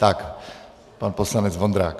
Tak pan poslanec Vondrák.